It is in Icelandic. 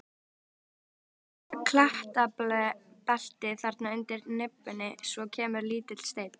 Sjáðu klettabeltið þarna undir nibbunni, svo kemur lítill steinn.